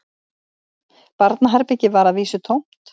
Barnaherbergið var að vísu tómt